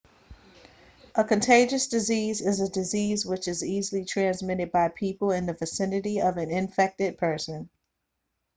a contagious disease is a disease which is easily transmitted by being in the vicinity of an infected person